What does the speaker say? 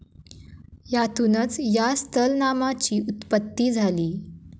यातूनच या स्थलनामाची उत्पत्ती झाली.